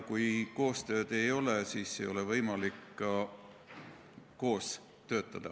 Kui koostööd ei ole, siis ei ole võimalik ka koos töötada.